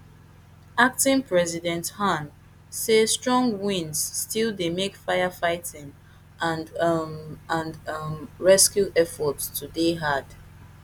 acting president han say strong winds still dey make firefighting and um and um rescue efforts to dey hard